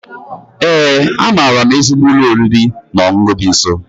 Ee, amaara m ezigbo ụlọ oriri na ọṅụṅụ dị nso.